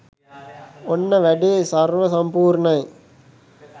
ඔන්න වැඩේ සර්ව සම්පූර්ණයි